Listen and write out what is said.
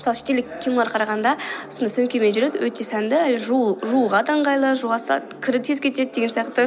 мысалы шетелдік кинолар қарағанда сондай сөмкемен жүреді өте сәнді жууға да ыңғайлы жуа салады кірі тез кетеді деген сияқты